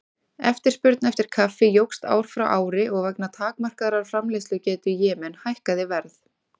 Eftirspurn eftir kaffi jókst ár frá ári og vegna takmarkaðrar framleiðslugetu í Jemen hækkaði verð.